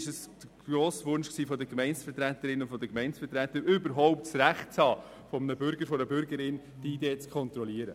Es war der grosse Wunsch der Gemeindevertreterinnen und Gemeindevertreter, überhaupt das Recht zu haben, die ID eines Bürgers, einer Bürgerin zu kontrollieren.